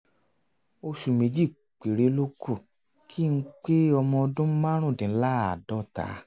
oṣù méjì péré ló kù kí n pé ọmọ ọdún márùndínláàádọ́ta